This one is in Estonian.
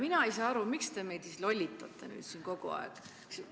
Mina ei saa aru, miks te meid lollitate siin kogu aeg.